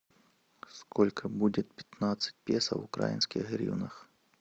сколько будет пятнадцать песо в украинских гривнах